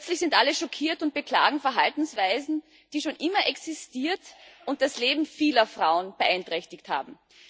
Plötzlich sind alle schockiert und beklagen Verhaltensweisen, die schon immer existiert und das Leben vieler Frauen beeinträchtigt haben.